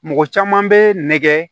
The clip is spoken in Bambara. Mɔgɔ caman bɛ nɛgɛ